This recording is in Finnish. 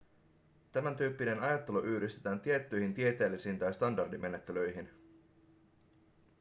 tämän tyyppinen ajattelu yhdistetään tiettyihin tieteellisiin tai standardimenettelyihin